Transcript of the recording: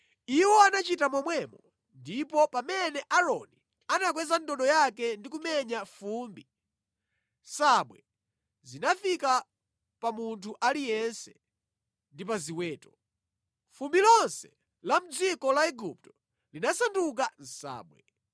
Iwo anachita momwemo, ndipo pamene Aaroni anakweza ndodo yake ndi kumenya fumbi, nsabwe zinafika pa munthu aliyense ndi pa ziweto. Fumbi lonse la mʼdziko la Igupto linasanduka nsabwe.